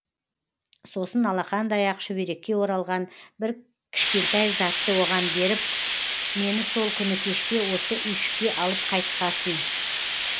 сосын алақандай ақ шүберекке оралған бір кішкентай затты оған беріп мені сол күні кешке осы үйшікке алып қайтқасың